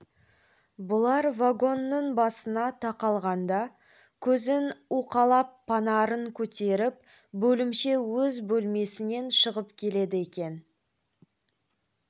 бұлар вагонның басына тақалғанда көзін уқалап панарын көтеріп бөлімше өз бөлмесінен шығып келеді екен